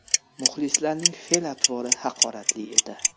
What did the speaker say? Muxlislarning fe’l-atvori haqoratli edi.